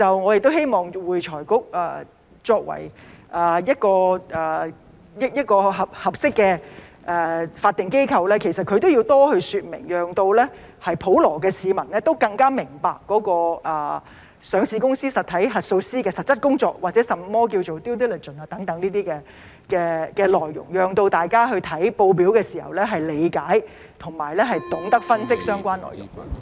我希望會財局作為一個合適的法定機構，對此都要多說明，讓普羅市民更明白上市公司實體核數師的實質工作或甚麼是 due diligence 等，讓大家閱讀報表的時候能夠理解和懂得分析相關內容。